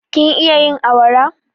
Kin iya yin awara?